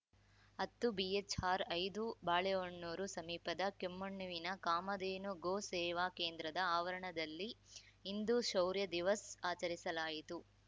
ಹತ್ತುಬಿಎಚ್‌ಆರ್ ಐದು ಬಾಳೆಹೊನ್ನೂರು ಸಮೀಪದ ಕೆಮ್ಮಣ್ಣುವಿನ ಕಾಮಧೇನು ಗೋ ಸೇವಾ ಕೇಂದ್ರದ ಆವರಣದಲ್ಲಿ ಹಿಂದೂ ಶೌರ್ಯ ದಿವಸ್‌ ಆಚರಿಸಲಾಯಿತು